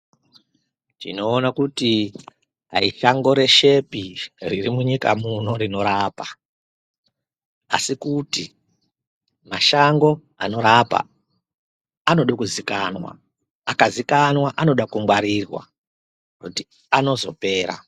Tinoona kuti ayi shango reshepi riri munyika muno rinorapa, asi kuti mashango anorapa, anoda kuzikanwa, akazikanwa anoda kungwarirwa kuti anozopera.